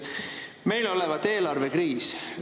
Meil olevat eelarvekriis.